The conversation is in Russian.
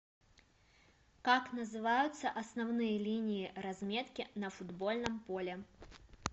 как называются основные линии разметки на футбольном поле